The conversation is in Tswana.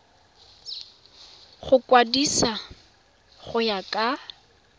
go kwadisiwa go ya ka